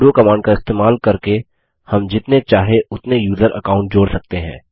sudo command का इस्तेमाल करके हम जितने चाहे उतने यूज़र अकाउंट जोड़ सकते हैं